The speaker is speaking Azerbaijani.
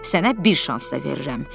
Sənə bir şans da verirəm.